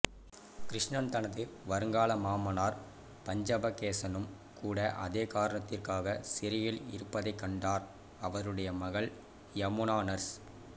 கிருஷ்ணன் தனது வருங்கால மாமனார் பஞ்சபகேசனும் கூட அதே காரணத்திற்காக சிறையில் இருப்பதைக் கண்டார் அவருடைய மகள் யமுனா நர்ஸ்